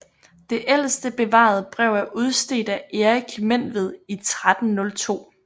Det ældste bevarede brev er udstedt af Erik Menved i 1302